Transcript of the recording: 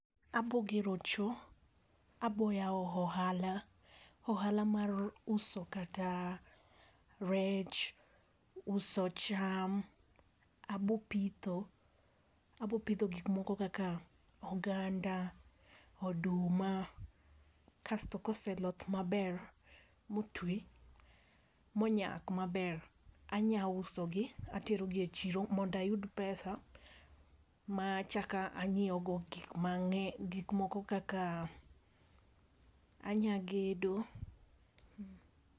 abogero choo, aboyao ohala, ohala mar uso kata rech, uso cham, abo pitho, abo pidho gikmoko kaka oganda, oduma kasto koseloth maber motwi monyak maber, anya uso gi, atero gi e chiro mondo ayud pesa ma achak anyieo go gik ma, gik moko kaka, anyagedo.